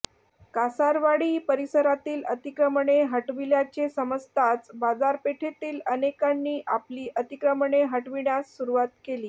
कासारव्हाळी परिसरातील अतिक्रमणे हटविल्याचे समजताच बाजारपेठेतील अनेकांनी आपली अतिक्रमणे हटविण्यास सुरुवात केली